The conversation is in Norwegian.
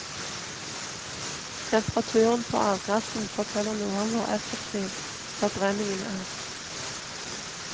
Temperaturen på avgassen forteller noe om hvor effektiv forbrenningen er.